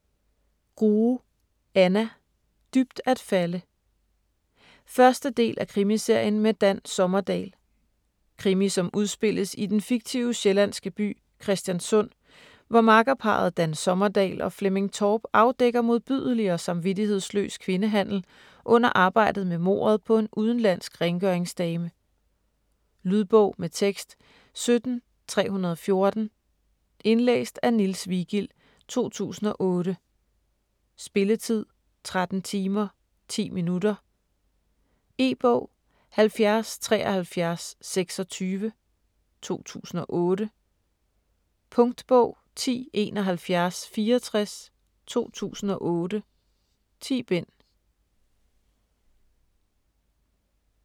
Grue, Anna: Dybt at falde 1. del af Krimiserien med Dan Sommerdahl. Krimi som udspilles i den fiktive sjællandske by Christianssund, hvor makkerparret Dan Sommerdahl og Flemming Torp afdækker modbydelig og samvittighedsløs kvindehandel under arbejdet med mordet på en udenlandsk rengøringsdame. Lydbog med tekst 17314 Indlæst af Niels Vigild, 2008. Spilletid: 13 timer, 10 minutter. E-bog 707326 2008. Punktbog 107164 2008. 10 bind.